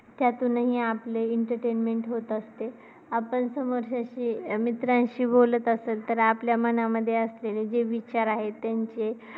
त्यातूनही आपले entertainment होत असते. आपण समोरच्याशी मित्रांशी बोलत असेल तर आपल्या मनामध्ये असलेले जे विचार आहेत त्यांचे